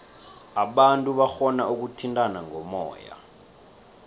abantu barhona ukuthintana ngomoya